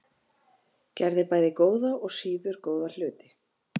Gerði bæði góða og síður góða hluti.